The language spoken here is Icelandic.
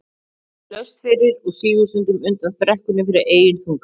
Það er því laust fyrir og sígur stundum undan brekkunni fyrir eigin þunga.